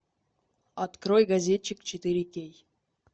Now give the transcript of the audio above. открой газетчик четыре кей